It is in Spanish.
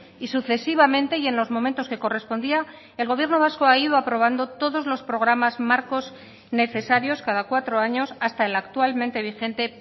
y sucesivamente y en los momentos que correspondía el gobierno vasco ha ido aprobando todos los programas marcos necesarios cada cuatro años hasta el actualmente vigente